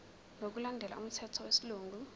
ngokulandela umthetho wesilungu